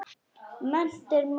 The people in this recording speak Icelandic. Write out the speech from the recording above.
Mennt er máttur.